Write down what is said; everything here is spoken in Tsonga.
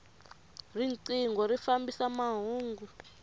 rinqingho ri fambisa mahungu